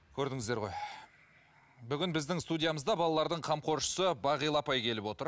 көрдіңіздер ғой бүгін біздің студиямызда балалардың қамқоршысы бағила апай келіп отыр